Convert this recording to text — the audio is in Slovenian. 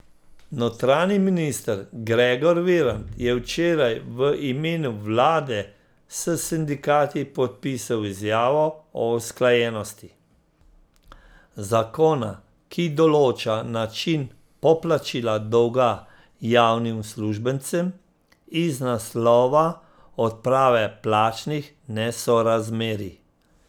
Notranji minister Gregor Virant je včeraj v imenu vlade s sindikati podpisal izjavo o usklajenosti zakona, ki določa način poplačila dolga javnim uslužbencem iz naslova odprave plačnih nesorazmerij.